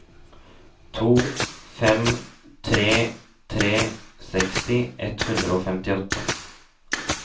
to fem tre tre seksti ett hundre og femtiåtte